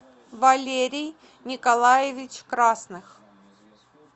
валерий николаевич красных